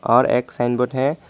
और एक sign board है।